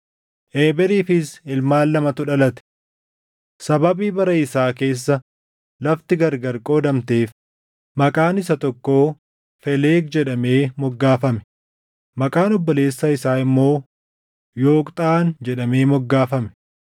Eeberiifis ilmaan lamatu dhalate: Sababii bara isaa keessa lafti gargar qoodamteef, maqaan isa tokkoo Felegi jedhamee moggaafame; maqaan obboleessa isaa immoo Yooqxaan jedhamee moggaafame.